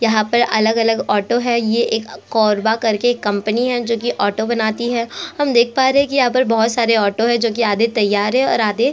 यहाँ पर अलग-अलग ऑटो है ये एक कोरबा करके कंपनी है जो कि ऑटो बनाती है हम देख पा रहै हैं कि यहाँ पर बहोत सारे ऑटो है जो कि आधे तैयार है और आधे--